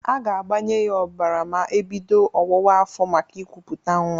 A ga-agbanye ya ọbara ma ebido ọwụwa afọ maka ịkụpụta nnwa.